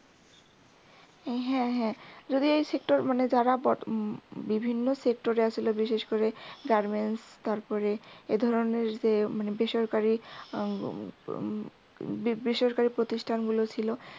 হ্যা হ্যাঁ যদি এই sector যারা বর্তমানে বিভিন্ন sector বিশেষ করে garments তারপরে এ ধরনের যে যে বেসরকারি এর হম বেসরকারি প্রতিষ্ঠানগুলো ছিল